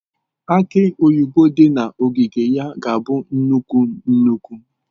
Aki oyibo dị na ogige ya ga-abụ nnukwu nnukwu.